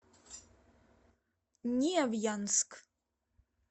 невьянск